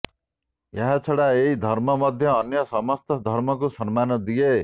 ଏହାଛଡ଼ା ଏହି ଧର୍ମ ମଧ୍ୟ ଅନ୍ୟ ସମସ୍ତ ଧର୍ମକୁ ସମ୍ମାନ ଦିଏ